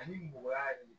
Ani mɔgɔya